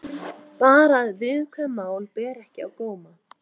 Bara að viðkvæm mál beri ekki á góma.